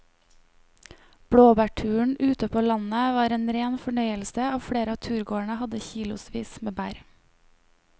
Blåbærturen ute på landet var en rein fornøyelse og flere av turgåerene hadde kilosvis med bær.